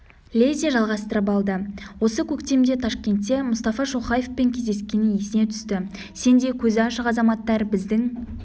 лезде жалғастырып алды осы көктемде ташкентте мұстафа шоқаевпен кездескені есіне түсті сендей көзі ашық азаматтар біздің